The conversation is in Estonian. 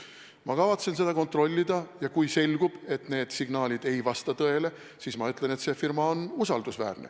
Ma kavatsen seda kontrollida ja kui selgub, et need signaalid ei vasta tõele, siis ma ütlen, et see firma on usaldusväärne.